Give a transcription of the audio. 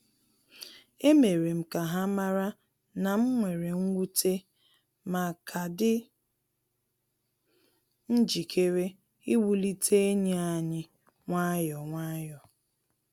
E mere m ka ha mara na m were nwute, ma ka dị njikere iwulite enyi anyi nwayọ nwayọ